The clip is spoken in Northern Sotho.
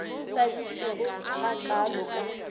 sa bitšego ga kaalo ka